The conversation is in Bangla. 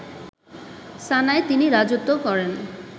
সানায় তিনি রাজত্ব করেন